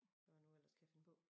Hvad man nu ellers kan finde på